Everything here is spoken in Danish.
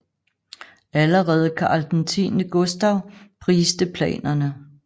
Allerede Karl X Gustav priste planerne